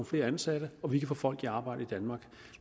flere ansatte og vi kan få folk i arbejde i danmark